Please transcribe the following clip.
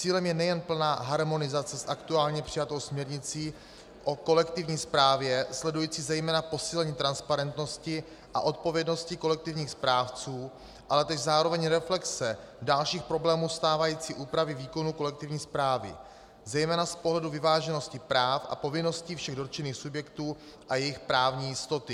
Cílem je nejen plná harmonizace s aktuálně přijatou směrnicí o kolektivní správě sledující zejména posílení transparentnosti a odpovědnosti kolektivních správců, ale též zároveň reflexe dalších problémů stávající úpravy výkonu kolektivní správy zejména z pohledu vyváženosti práv a povinností všech dotčených subjektů a jejich právní jistoty.